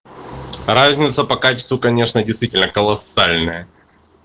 разница по качеству конечно действительно колоссальная